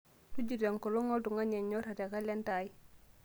tujuto enkolong' ooltungana onyora te kalenda ai